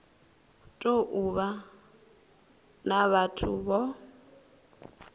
tou vha na vhathu vho